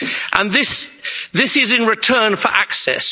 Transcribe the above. And this is in return for access.